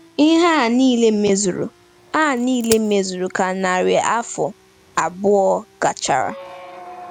Ihe a niile mezuru a niile mezuru ka narị afọ abụọ gachara.